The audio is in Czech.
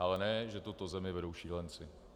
Ale ne že tuto zemi vedou šílenci.